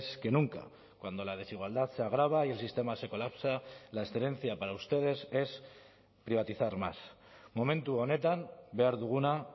que nunca cuando la desigualdad se agrava y el sistema se colapsa la excelencia para ustedes es privatizar más momentu honetan behar duguna